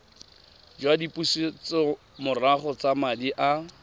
jwa dipusetsomorago tsa madi a